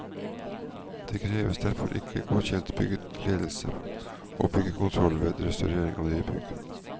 Det kreves derfor ikke godkjent byggeledelse og byggekontroll ved restaurering og nybygg.